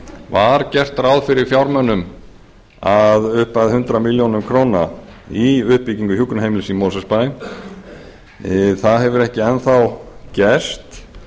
var gert ráð fyrir fjármunum að upphæð hundrað milljónir króna í uppbyggingu hjúkrunarheimilis í mosfellsbæ það hefur ekki enn þá gerst